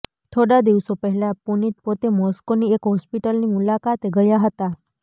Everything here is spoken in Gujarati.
થોડા દિવસો પહેલા પુતિન પોતે મોસ્કોની એક હોસ્પિટલની મુલાકાતે ગયા હતા